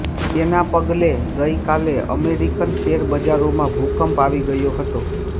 તેના પગલે ગઇકાલે અમેરિકન શેરબજારોમાં ભૂકંપ આવી ગયો હતો